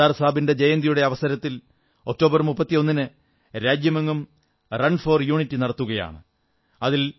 സർദാർ സാബിന്റെ ജയന്തിയുടെ അവസരത്തിൽ ഒക്ടോബർ 31ന് രാജ്യമെങ്ങും റൺ ഫോർ യൂണിറ്റി നടത്തുകയാണ്